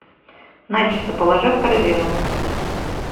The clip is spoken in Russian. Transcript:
начосы положи в корзину